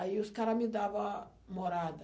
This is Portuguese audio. Aí os caras me davam morada.